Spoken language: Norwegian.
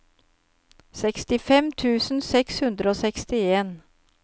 sekstifem tusen seks hundre og sekstien